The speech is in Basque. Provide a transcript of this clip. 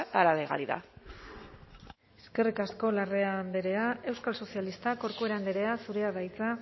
a la legalidad eskerrik asko larrea andrea euskal sozialistak corcuera andrea zurea da hitza